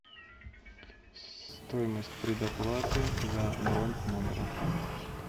стоимость предоплаты за бронь номера